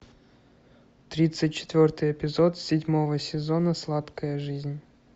тридцать четвертый эпизод седьмого сезона сладкая жизнь